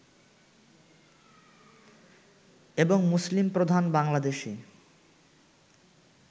এবং মুসলিম প্রধান বাংলাদেশে